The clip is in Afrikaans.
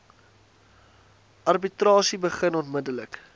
arbitrasie begin onmiddellik